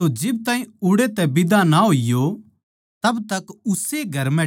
तो जिब ताहीं उड़ै तै बिदा ना होईयो तब तक उस्से घर म्ह ठहरे रहो